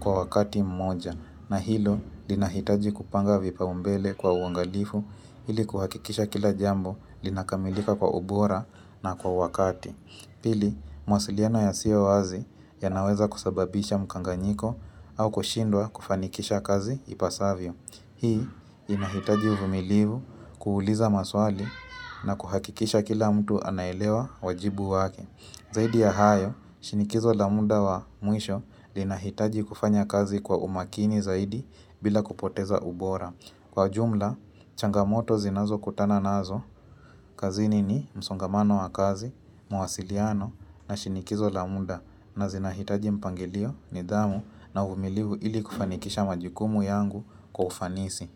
kwa wakati mmoja. Na hilo, linahitaji kupanga vipaumbele kwa uangalifu hili kuhakikisha kila jambo linakamilika kwa ubora na kwa wakati. Pili, mawasiliano yasiyo wazi yanaweza kusababisha mkanganyiko au kushindwa kufanikisha kazi ipasavyo. Hii inahitaji uvumilivu kuuliza maswali na kuhakikisha kila mtu anaelewa wajibu wake. Zaidi ya hayo, shinikizo la muda wa mwisho linahitaji kufanya kazi kwa umakini zaidi bila kupoteza ubora. Kwa jumla, changamoto zinazokutana nazo kazini ni msongamano wa kazi, mawasiliano na shinikizo la muda. Na zinahitaji mpangelio nidhamu na umilivu ili kufanikisha majukumu yangu kwa ufanisi.